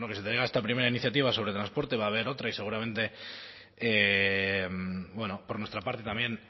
que se traiga esta primera iniciativa sobre transporte va a haber otra y seguramente por nuestra parte también